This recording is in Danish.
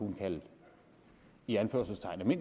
i anførselstegn kunne